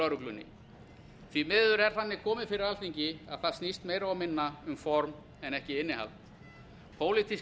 lögreglunni því miður er þannig komið fyrir alþingi að það snýst meira og minna um form en ekki innihald pólitísk